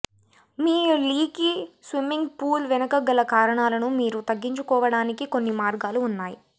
మీ leaky swimming pool వెనుక గల కారణాలను మీరు తగ్గించుకోవడానికి కొన్ని మార్గాలు ఉన్నాయి